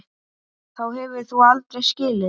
Þá hefur þú aldrei skilið.